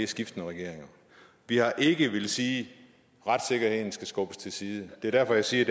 skiftende regeringer vi har ikke villet sige at retssikkerheden skal skubbes til side det er derfor jeg siger